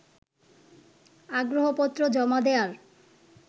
আগ্রহপত্র জমা দেয়ার